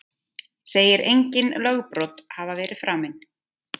Segir engin lögbrot hafa verið framin